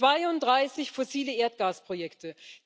32 fossile Erdgasprojekte.